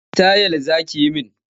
Wanne sitayil za ki yi min?